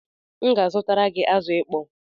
M ga-azutara gị azụ ịkpọ